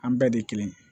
An bɛɛ de kelen